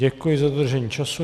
Děkuji za dodržení času.